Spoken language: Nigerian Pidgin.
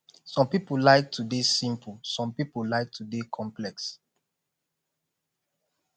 some pipo like to de simple some pipo like to de complex